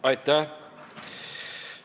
Aitäh!